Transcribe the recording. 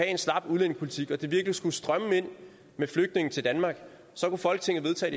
en slap udlændingepolitik og det virkelig skulle strømme ind med flygtninge til danmark så kunne folketinget vedtage